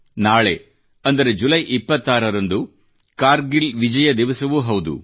ನಾಳೆ ಅಂದರೆ ಜುಲೈ 26 ರಂದು ಕಾರ್ಗಿಲ್ ವಿಜಯ ದಿವಸವೂ ಹೌದು